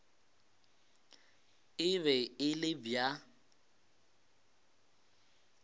e be e le bja